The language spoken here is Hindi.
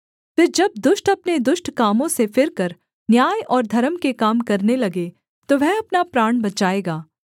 फिर जब दुष्ट अपने दुष्ट कामों से फिरकर न्याय और धर्म के काम करने लगे तो वह अपना प्राण बचाएगा